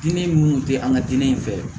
Diinɛ minnu tɛ an ka diinɛ fɛ